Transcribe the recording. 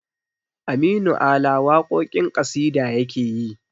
Aminu ala waƙoƙin ƙasida yakeyi